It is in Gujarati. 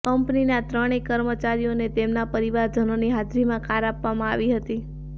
કંપનીના ત્રણેય કર્મચારીઓને તેમના પરિવારજનોની હાજરીમાં કાર આપવામાં આવી હતી